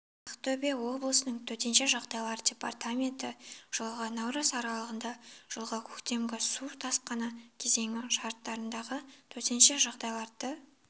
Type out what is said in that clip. ақтөбе облысының төтенше жағдайлар департаменті жылғы наурыз аралығында жылғы көктемгі су тасқыны кезеңі шарттарындағы төтенше жағдайларды